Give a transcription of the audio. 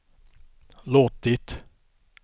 låtit